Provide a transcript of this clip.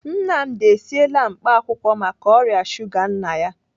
Nnamdi esiela mkpaakwụkwọ maka ọrịa shuga nna ya.